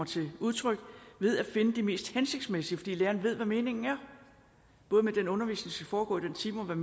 til udtryk ved at finde det mest hensigtsmæssige læreren ved hvad meningen er både med den undervisning der skal foregå i den time og med